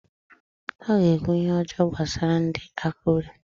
O ga-ekwu ihe ọjọọ gbasara ndị Akụre